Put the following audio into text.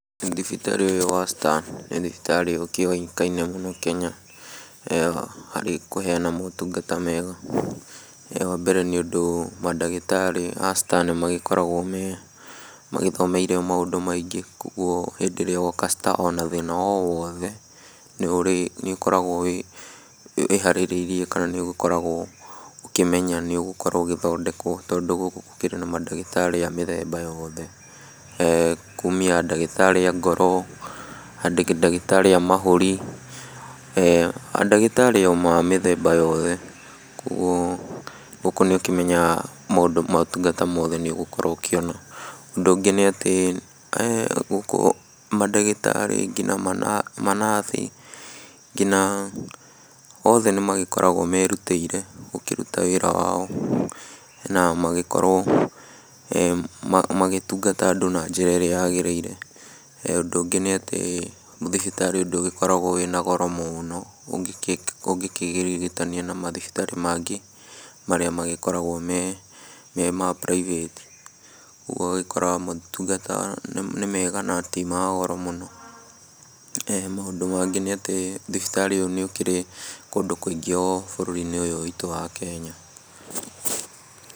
Thibitarĩ ũyũ wa Star nĩ thibitarĩ ũkĩũĩkaine mũno Kenya harĩ kũheana motungata mega. Wambere, nĩũndũ mandagĩtarĩ a Star nĩmagĩkoragwo me magĩthomeire maũndũ maingĩ kuoguo hĩndĩ ĩrĩa woka Star ona thĩna o wothe, nĩũkoragwo wĩharĩrĩirie kana nĩũgĩkoragwo ũkĩmenya kana nĩũgũkorwo ũgĩthondekwo tondũ gũkũ gũkĩrĩ na mandagĩtarĩ a mĩthemba yoothe ee kumia ndagĩtarĩ a ngoro, ndagĩtarĩ a mahũri, ee ndagĩtarĩ o ma mĩthemba yothe, kuoguo gũku nĩũkĩmenyaga maũndũ motungata mothe nĩũgũkorwo ũkĩona. Ũndũ ũngĩ nĩatĩ ee gũkũ mandagĩtarĩ aingĩ na manabi kinya othe nĩmakoragwo merutĩire gũkĩruta wĩra wao na magĩkorwo magĩtungata andũ na njĩra ĩrĩa yagĩrĩire. Ũndũ ũngĩ nĩatĩ thibitarĩ ũyũ ndũgĩkorwagwo wĩna goro mũũno ũngĩkĩrigitania na mathibitarĩ mangĩ marĩa magĩkoragwo mema private, ũguo ũgagĩkora motungata nĩ mega na ti magoro mũno. Maũndũ mangĩ nĩatĩ thibitarĩ ũyũ nĩũkĩrĩ kũndũ kũingĩ o bũrũri-inĩ ũyũ witũ wa Kenya.